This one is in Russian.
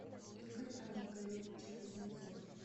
игорь анатольевич кузнецов